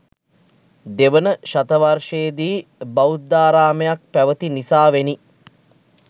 දෙවන ශතවර්ශයේදි බෞද්ධාරාමයක් පැවති නිසාවෙනි.